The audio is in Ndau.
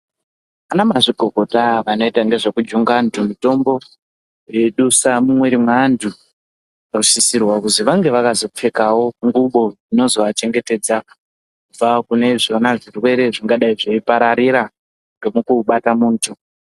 Anamazvikokota anoita ngezvekujunga antu mutombo eidusa mumwiri mweantu anosisirwa kuti vange vakazopfekawo ngubo dzinozovachengetedza kubva kune izvona zvirwere zvingadai zveipararira ngemukubata muntu.